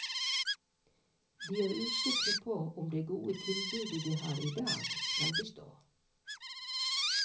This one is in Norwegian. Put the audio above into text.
De er usikre på om det gode tilbudet de har i dag skal bestå.